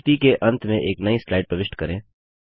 प्रस्तुति के अंत में एक नई स्लाइड प्रविष्ट करें